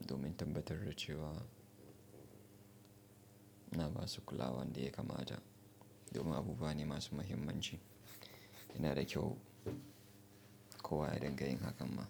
domin tabbatar da cewa ina basu kulawan da ya kamata domin abubuwa ne masu mahimmanci. Yana da kyau kowa ya rinƙa yin hakan ma.